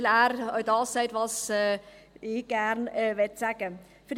Denn er sagt das, was ich gerne sagen möchte.